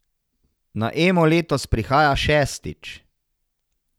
Na Emo letos prihaja šestič.